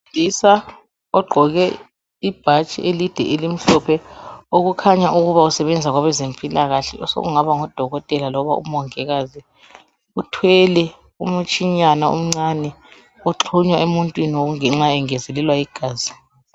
Owesilisa ogqqoke ibhatshi elimhlophe okukhanya ukuba usebenza kwabezempilakahle okungaba ngodokotela kumbe omongikazi uthwele umtshinyana omncane oxhunywa emuntwini engezelelwa igazi.